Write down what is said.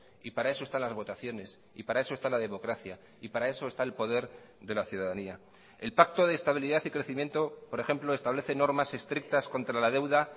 y para eso están las votaciones y para eso está la democracia y para eso está el poder de la ciudadanía el pacto de estabilidad y crecimiento por ejemplo establece normas estrictas contra la deuda